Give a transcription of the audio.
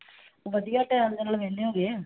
ਵਧੀਆ ਟਾਈਮ ਦੇ ਨਾਲ ਵਿਹਲੇ ਹੋ ਗਏ ਹਾਂ।